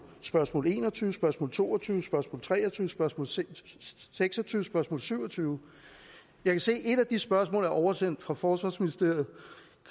spørgsmål en og tyve spørgsmål to og tyve spørgsmål tre og tyve spørgsmål seks seks og tyve spørgsmål syvogtyvende jeg kan se at et af de spørgsmål er oversendt fra forsvarsministeriet